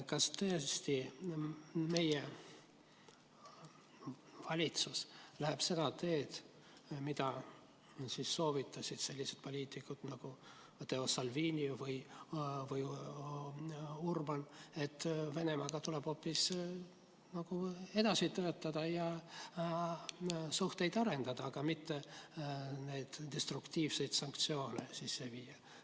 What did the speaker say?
Kas tõesti meie valitsus läheb seda teed, mida soovitasid sellised poliitikud nagu Matteo Salvini ja Viktor Orbán, et Venemaaga tuleb hoopis edasi töötada ja suhteid arendada, mitte neid destruktiivseid sanktsioone kehtestada?